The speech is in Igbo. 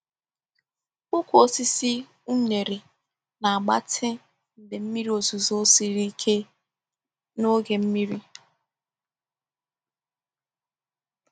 Ụkwụ osisi unere na-agbatị mgbe mmiri ozuzo siri ike n’oge mmiri.